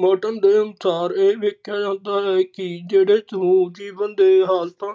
Merton ਦੇ ਅਨੁਸਾਰ ਏਹ ਵੇਖਿਆ ਜਾਂਦਾ ਹੈ ਕਿ ਜੇੜੇ ਸਮੂਹ ਜੀਵਨ ਦੇ ਹਾਲਤਾਂ